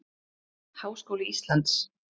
Háskóli Íslands